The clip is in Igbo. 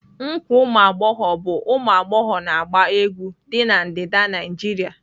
Nkwa umuaghogho bu umu agbogho na gba egwu di na ndida Naijịrịa.